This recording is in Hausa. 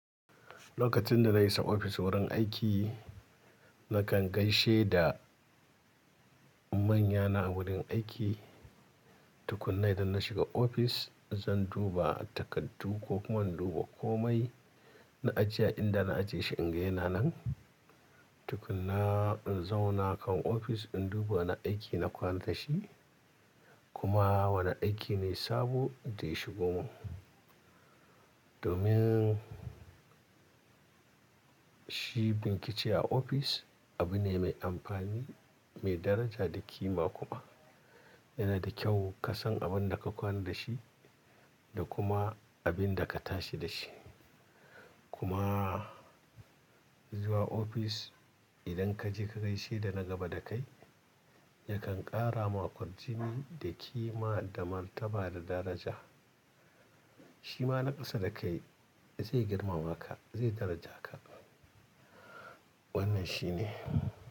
Lokacin da na isa ofis wurin aiki, nakan gaishe da manyana a wurin aiki. Tukunna idan na shiga ofis, zan duba takardu ko kuma in duba komai na ajiye a inda na ajiye shi in ga yana nan. Tukunna in zauna a kan ofis, in duba wani aiki na kwana da shi kuma wani aiki ne sabo da ya shigo min. Domin shi bincike a ofis abu ne mai amfani, mai daraja da kima kuma. Yana da kyau ka san abin da ka kwana da shi da kuma abin da ka tashi da shi. Kuma zuwa ofis idan ka je ka gaishe da na gaba da kai, yakan ƙara maka kwarjini da kima da martaba da daraja. Shi ma na ƙasa da kai zai girmama ka, zai daraja ka. Wannan shi ne.